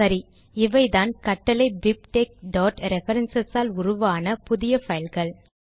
சரி இவைதான் கட்டளை bibtexரெஃபரன்ஸ் ஆல் உருவான புதிய பைல்கள்